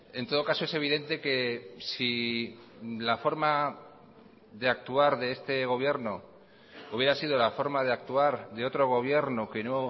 en todo caso es evidente que si la forma de actuar de este gobierno hubiera sido la forma de actuar de otro gobierno que no